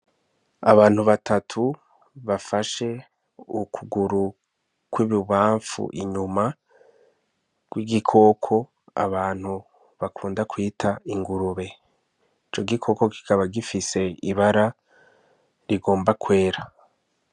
Abantu batatu bafashe ukuguru kw'ibubamfu inyuma kw'igikoko, abantu bakunda kwita ingurube. Ico gikoko kikaba gifise ibara rigomba kwera.